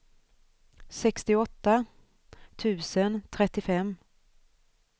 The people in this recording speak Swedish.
sextioåtta tusen trettiofem